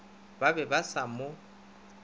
ba be ba sa mo